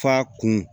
Fa kun